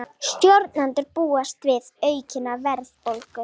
Stjórnendur búast við aukinni verðbólgu